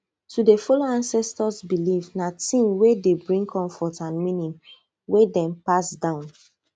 to dey follow ancestors beliefs na thing wey dey bring comfort and meaning wey dem pass down